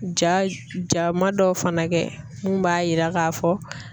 Ja ja ma dɔw fana kɛ mun b'a yira k'a fɔ